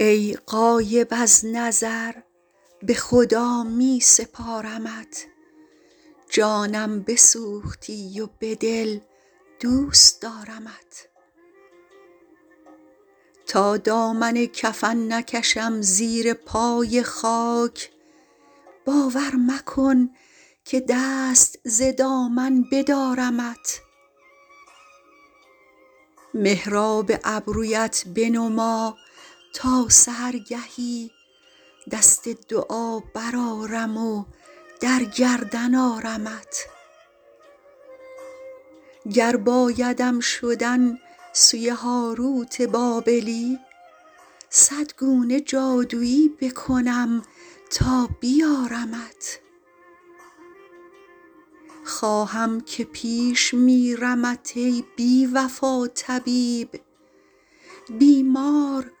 ای غایب از نظر به خدا می سپارمت جانم بسوختی و به دل دوست دارمت تا دامن کفن نکشم زیر پای خاک باور مکن که دست ز دامن بدارمت محراب ابرویت بنما تا سحرگهی دست دعا برآرم و در گردن آرمت گر بایدم شدن سوی هاروت بابلی صد گونه جادویی بکنم تا بیارمت خواهم که پیش میرمت ای بی وفا طبیب بیمار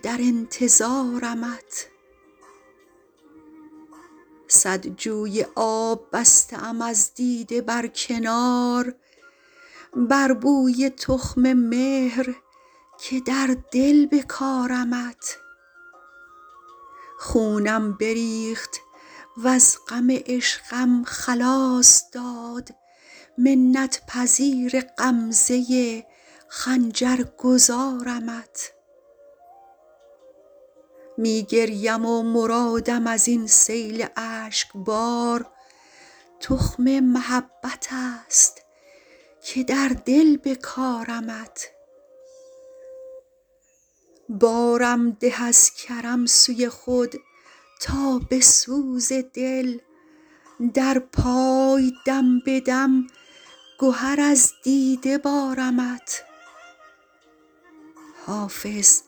باز پرس که در انتظارمت صد جوی آب بسته ام از دیده بر کنار بر بوی تخم مهر که در دل بکارمت خونم بریخت وز غم عشقم خلاص داد منت پذیر غمزه خنجر گذارمت می گریم و مرادم از این سیل اشک بار تخم محبت است که در دل بکارمت بارم ده از کرم سوی خود تا به سوز دل در پای دم به دم گهر از دیده بارمت حافظ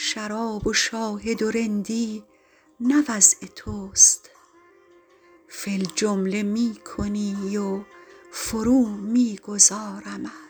شراب و شاهد و رندی نه وضع توست فی الجمله می کنی و فرو می گذارمت